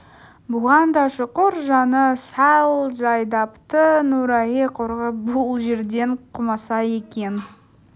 бұған да шүкір жаны сәл жай тапты нұрайы құрғыр бұл жерден қумаса екен